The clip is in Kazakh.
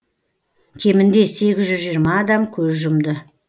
кемінде сегіз жүз жиырма адам көз жұмды